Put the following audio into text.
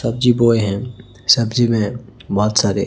सब्जी बॉय है सब्जी में बहोत सारे--